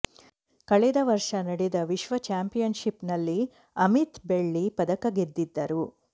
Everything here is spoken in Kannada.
ಕಳೆದ ವರ್ಷ ನಡೆದ ವಿಶ್ವ ಚಾಂಪಿಯನ್ಶಿಪ್ನಲ್ಲಿ ಅಮಿತ್ ಬೆಳ್ಳಿ ಪದಕ ಗೆದ್ದಿದ್ದರು